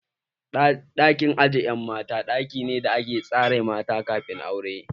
Ɗakin aje ƴan mata ɗaki ne da ake tsare mata kamin aure.